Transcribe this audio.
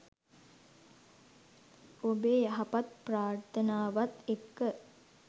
ඔබේ යහපත් ප්‍රාර්ථනාවත් එක්ක